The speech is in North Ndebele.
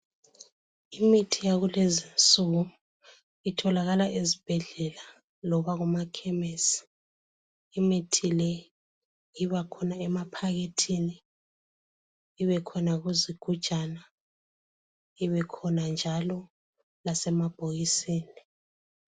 Imithi yakulezinsuku itholakala ezibhedlela loba kuma khemesi. Imithi leyo ibakhona emaphakethini ibe khona kuzigujana ibe khona njalo lasemabhokisini.